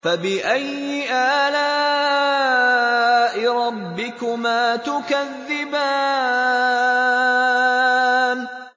فَبِأَيِّ آلَاءِ رَبِّكُمَا تُكَذِّبَانِ